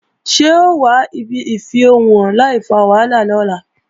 Ṣé o wà ibi ìfẹ̀hónúhàn láìfa wàhálà lọ́la?